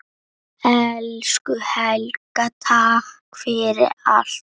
Elsku Helga, takk fyrir allt.